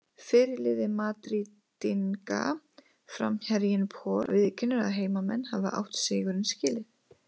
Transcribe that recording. Fyrirliði Madrídinga, framherjinn Raul, viðurkennir að heimamenn hafi átt sigurinn skilinn.